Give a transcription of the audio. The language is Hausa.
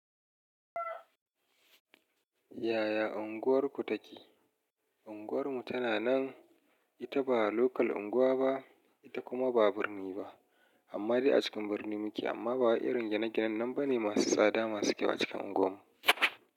Yaya ya unguwarku take? Unguwarmu tana nan, ita ba local unguwa ba ita kuma ba birni ba, amma dai a cikin birni muke amma ba wa irin gine ginen nan bane masu tsada masu kyau a cikin unguwarmu.